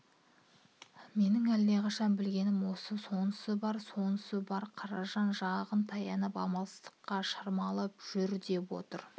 менің әлдеқашан білгенім осы деді сонысы бар сонысы бар қаражан жағын таянып амалсыздыққа шырмалып жүдеп отырып